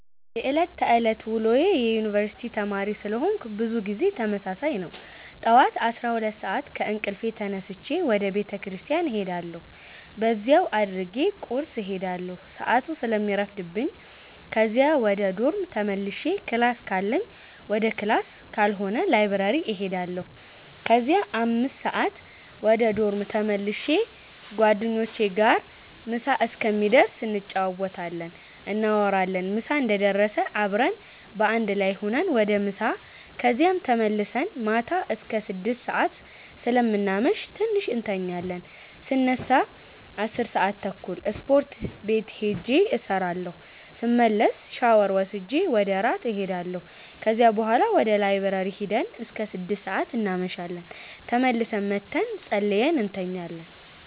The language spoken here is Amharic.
የዕለት ተዕለት ውሎዬ የዩነኒቨርስቲ ተማሪ ስለሆነኩ ብዙ ጊዜ ተመሳሳይ ነው። ጠዋት 12:00 ሰአት ከእንቅልፌ ተነስቼ ወደ ቤተክርስቲያን እሄዳለሁ በዚያው አድርጌ ቁርስ እሄዳለሁ ሰአቱ ስለሚረፍድብኝ ከዚያ ወደ ዶርም ተመልሼ ክላስ ካለኝ ወደ ክላስ ካልሆነ ላይብረሪ እሄዳለሁ ከዚያ 5:00 ወደ ዶርም ተመልሼ ጓደኞቼ ጋር ምሳ እስከሚደርስ እንጫወታለን፣ እናወራለን ምሳ እንደደረሰ አብረን በአንድ ላይ ሁነን ወደ ምሳ ከዚያም ተመልሰን ማታ አስከ 6:00 ሰአት ስለምናመሽ ትንሽ እንተኛለን ስነሳ 10:30 ስፖርት ቤት ሂጄ እሰራለሁ ስመለስ ሻወር ወስጄ ወደ እራት እሄዳለሁ ከዚያ ቡሀላ ወደ ላይብረሪ ሂደን እስከ 6:00 እናመሻለን ተመልሰን መተን ፀልየን እንተኛለን።